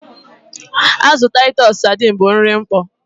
Azụ Taịtus sadiin bụ nri mkpọ.